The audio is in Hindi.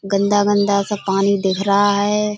गंदा-गंदा सा पानी दिख रहा है।